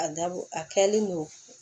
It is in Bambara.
A dabɔ a kɛlen don